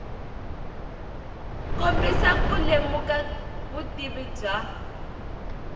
kombisa ku lemuka vutivi bya